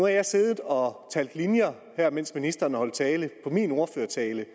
jeg siddet og talt linjer mens ministeren holdt tale i min ordførertale